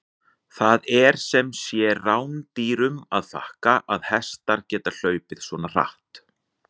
Það er sem sé rándýrunum að þakka að hestar geta hlaupið svona hratt!